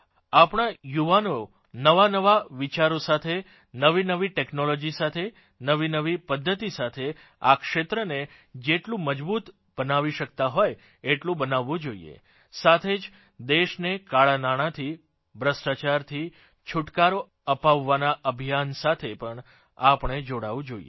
આપણાં યુવાઓ નવાનવા વિચારો સાથે નવીનવી ટેકનોલોજી સાથે નવીનવી પધ્ધતિ સાથે આ ક્ષેત્રને જેટલું મજબૂત બનાવી શકતા હોય એટલું બનાવવું જોઇએ સાથે જ દેશને કાળાનાણાંથી ભ્રષ્ટાચારથી છુટકારો અપાવવાના અભિયાન સાથે પણ આપણે જોડાવું જોઇએ